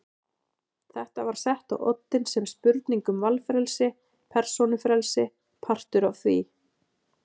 Þetta var sett á oddinn sem spurning um valfrelsi, persónufrelsi, partur af því.